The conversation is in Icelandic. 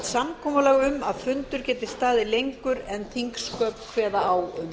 samkomulag um að fundur geti staðið lengur en þingsköp kveða á um